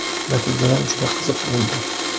Natijalar juda qiziq bo‘ldi.